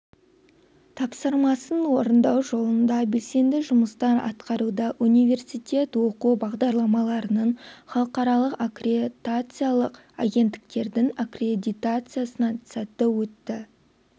тапсырмасын орындау жолында белсенді жұмыстар атқаруда университет оқу бағдарламаларының халықаралық аккретациялық агенттіктердің аккредитациясынан сәтті өтті